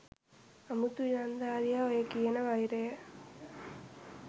අමුතු ඉලංදාරියා ඔය කියන වෛරය